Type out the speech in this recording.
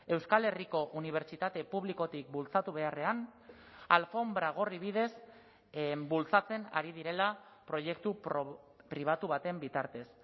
euskal herriko unibertsitate publikotik bultzatu beharrean alfonbra gorri bidez bultzatzen ari direla proiektu pribatu baten bitartez